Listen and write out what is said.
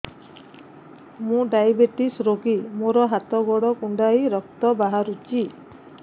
ମୁ ଡାଏବେଟିସ ରୋଗୀ ମୋର ହାତ ଗୋଡ଼ କୁଣ୍ଡାଇ ରକ୍ତ ବାହାରୁଚି